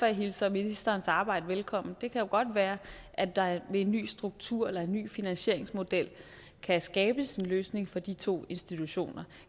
jeg hilser ministerens arbejde velkommen det kan jo godt være at der ved en ny struktur eller en ny finansieringsmodel kan skabes en løsning for de to institutioner